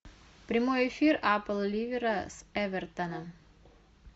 прямой эфир апл ливера с эвертоном